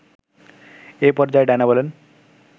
এ পর্যায়ে ডাইনা বলেন